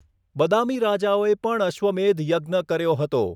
બદામી રાજાઓએ પણ અશ્વમેધ યજ્ઞ કર્યો હતો.